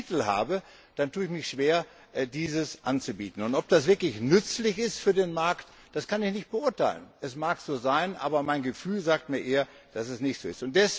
Wenn ich keinen Titel habe, dann tue ich mich schwer, ihn anzubieten. Ob das wirklich nützlich ist für den Markt, kann ich nicht beurteilen. Es mag so sein, aber mein Gefühl sagt mir eher, dass es nicht so ist.